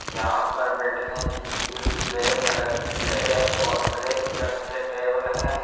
यहां पर बैठने के लिए ब्लैक कलर की चेयर और ब्लैक कलर के टेबल हैं।